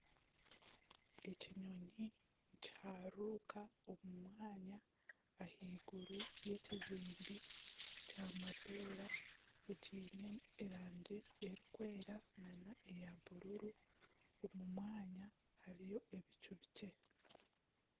Ekinyonyi nikiharuruka omu mwanya ahaiguru y'ekizimbe kya mapeera ekiine erangi erikwera nana eya bururu omu mwanya hariyo ebicu bikye